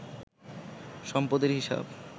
সম্পদের হিসাব